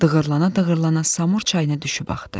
Dığırlana-dığırlana Samur çayına düşüb axdı.